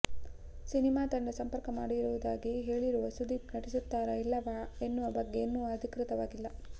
ಸಿನಿಮಾತಂಡ ಸಂಪರ್ಕ ಮಾಡಿರುವುದಾಗಿ ಹೇಳಿರುವ ಸುದೀಪ್ ನಟಿಸುತ್ತಾರಾ ಇಲ್ಲವ ಎನ್ನುವ ಬಗ್ಗೆ ಇನ್ನೂ ಅಧಿಕೃತವಾಗಿಲ್ಲ